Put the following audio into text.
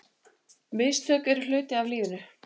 Mistök eru hluti af lífinu.